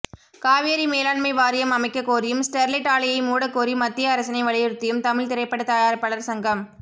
காவேரி மேலாண்மை வாரியம் அமைக்ககோரியும் ஸ்டெர்லைட் ஆலையை மூடகோரி மத்திய அரசினை வலியுறுத்தியும் தமிழ் திரைப்பட தயாரிப்பாளர் சங்கம்